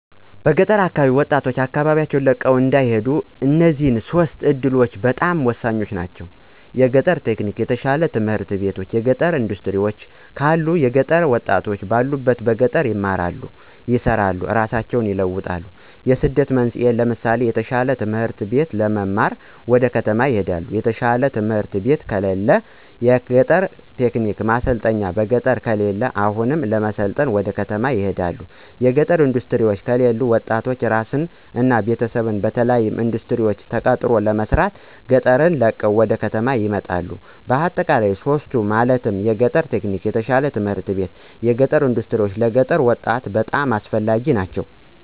በገጠር አካባቢ ወጣቶች አካባቢወን ለቀው እንዳይሄዱ እነዚህ ሶስቱ እዱሎች በጣም ሆሳኝ ናቸው። የአግሪ-ቴክኒክ፣ የተሻሉ ትምህርት ቤቶች እና የገጠር እንዳስትሪወች ካሉ የገጠሩ ወጣት ባሉበት በገጠር ይማራሉ፣ ይሰራሉ እራሳቸውን ይለውጣሉ። የስደት መንስኤወች ለምሳሌ የተሻለ ትምህርት ለመማር ወደ ከተማ ይሄዳሉ። የተሻለ ትምህርት ቤት ከለለ። የአግሪ-ቴክ ማሰልጠኛ በገጠሩ ከለለ አሁንም ለመሰልጠን ወደ ከተማ ይሰደዳሉ። የገጠር እንዳስትሪወች ከለሉ ወጣቱ እራሱን እና ቤተሰቡን በተለያሉ እንዳስትሪወች ተቀጥሮ ለመስራት ገጠሩን ለቆ ወደ ከተማ ይመጣል። በአጠቃላይ ሶስቱ ማለትም የአግሪ-ቴክ፣ የተሻሉ ት/ቤቶች እና የገጠር እንዳስትሪወች ለገጠሩ ወጣት በጣም አስፈላጊ ናቸው።